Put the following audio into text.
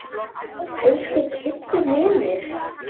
Elsku Kiddi vinur.